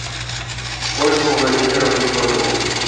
ольгу владимировну котову